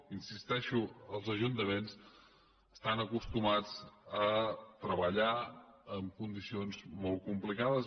hi insisteixo els ajuntaments estan acostumats a treballar en condicions molt complicades